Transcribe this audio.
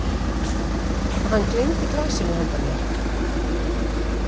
Hann gleymdi glasinu handa mér.